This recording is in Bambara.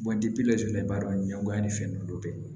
laturudala b'a dɔn ɲɛngoya ni fɛn nunnu bɛɛ ye